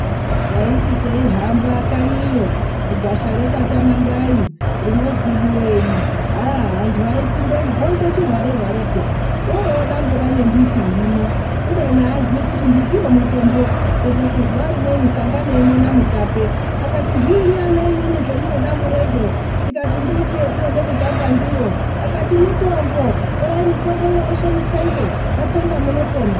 Taiti teihamba kanyiyo gwasha rekwaTamandai rinozwi Buyeni. Andu aipindamo oite chihware hware, orodambura ngembiti irimo, kubeni avazivi kuti mbitiyo mitombo. Kuzoti zuva rimweni sanganaiwo naMutape akati, zviinyi ana imimi zvamunodambura izvo, tikati mbiti yatinoda kutamba ndiyo, akati mitombo torai mitombo iyo meshe mutsenge matsenga munopona.